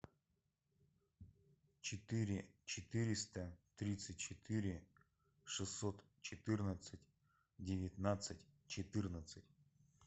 четыре четыреста тридцать четыре шестьсот четырнадцать девятнадцать четырнадцать